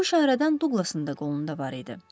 Bu işarədən Duqlasın da qolunda var idi.